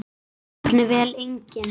Jafnvel engin.